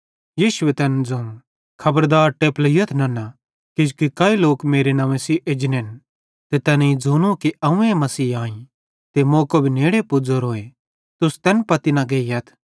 यीशुए तैन ज़ोवं खबरदार टेपलोईयथ नन्ना किजोकि काई लोक मेरे नंव्वे सेइं एजनेन ते तैनेईं ज़ोनूए कि अव्वें मसीह आईं ते मौको भी नेड़े पुज़ोरोए तुस तैन पत्ती न गेइयथ